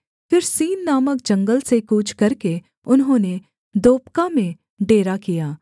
फिर सीन नामक जंगल से कूच करके उन्होंने दोपका में डेरा किया